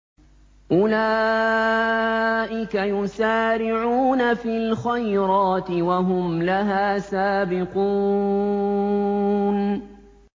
أُولَٰئِكَ يُسَارِعُونَ فِي الْخَيْرَاتِ وَهُمْ لَهَا سَابِقُونَ